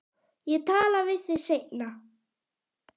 Ég tala við þig seinna.